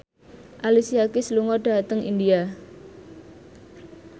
Alicia Keys lunga dhateng India